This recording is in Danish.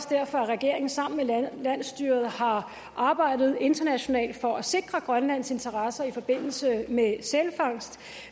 derfor regeringen sammen med landsstyret har arbejdet internationalt for at sikre grønlands interesser i forbindelse med sælfangst